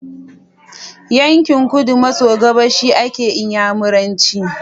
Yankin kudu maso gabas ake inyamiranci